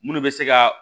Munnu bɛ se ka